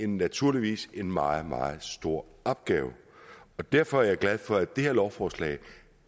naturligvis en meget meget stor opgave og derfor er jeg glad for at det her lovforslag